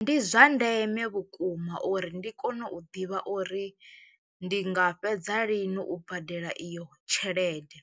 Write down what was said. Ndi zwa ndeme vhukuma uri ndi kone u ḓivha uri ndi nga fhedza lini u badela iyo tshelede